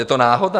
Je to náhoda?